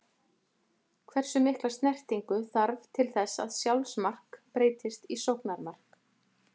Hversu mikla snertingu þarf til þess að sjálfsmark breytist í sóknarmark?